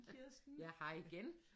Ja hej igen